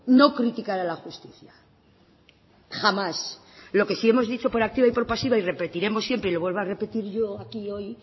no criticar a la justicia jamás lo que sí hemos dicho por activa y por pasiva y lo repetiremos siempre y lo vuelvo a repetir yo aquí hoy